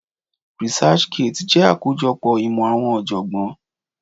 Researchgate jẹ́ akojopo imo àwọn ojogbon.